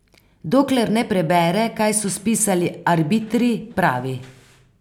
Dokler ne prebere, kaj so spisali arbitri, pravi.